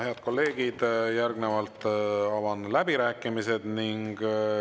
Head kolleegid, järgnevalt avan läbirääkimised.